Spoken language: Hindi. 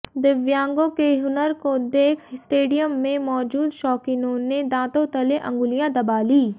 दिव्यांगों के हुनर को देख स्टेडियम में मौजूद शौकीनों ने दांतों तले अंगुलियां दबा ली